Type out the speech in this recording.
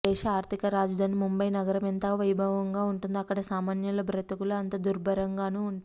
దేశ ఆర్థిక రాజధాని ముంబై నగరం ఎంత వైభవంగా ఉంటుందో అక్కడ సామాన్యుల బతుకులు అంత దుర్భరంగానూ ఉంటాయి